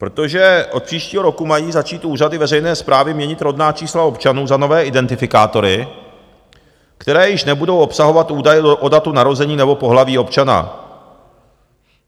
Protože od příštího roku mají začít úřady veřejné správy měnit rodná čísla občanů za nové identifikátory, které již nebudou obsahovat údaje o datu narození nebo pohlaví občana.